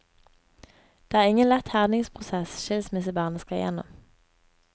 Det er ingen lett herdningsprosess skilsmissebarnet skal gjennom.